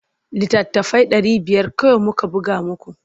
Littattafai ɗari biyar kawai muka buga muku.